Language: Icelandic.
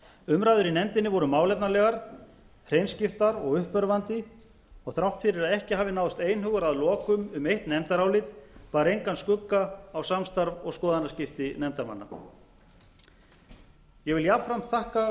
umræður í nefndinni voru málefnalegar hreinskiptnar og uppörvandi og þrátt fyrir að ekki hafi náðst einhugur að lokum um eitt nefndarálit bar engan skugga á samstarf og skoðanaskipti nefndarmanna ég vil jafnframt þakka